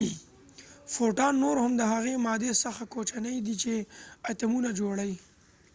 فوټون نور هم د هغې مادي څخه کوچنی دي چې اتومونه جوړی